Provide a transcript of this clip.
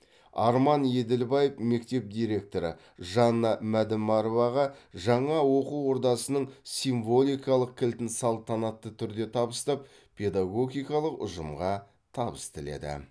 арман еділбаев мектеп директоры жанна мәдімароваға жаңа оқу ордасының символикалық кілтін салтанатты түрде табыстап педагогикалық ұжымға табыс тіледі